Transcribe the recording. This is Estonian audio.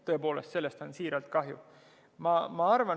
Tõepoolest, sellest on siiralt kahju!